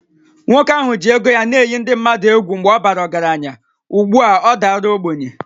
Nwoke ahụ ji ego ya na-eyi ndị mmadụ egwu mgbe ọ bara ọgaranya, ugbu a ọ dara ogbenye